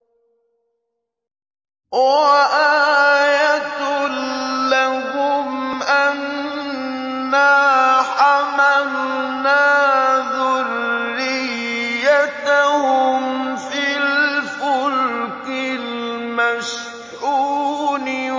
وَآيَةٌ لَّهُمْ أَنَّا حَمَلْنَا ذُرِّيَّتَهُمْ فِي الْفُلْكِ الْمَشْحُونِ